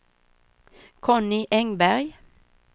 Conny Engberg